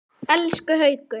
Elsku Haukur!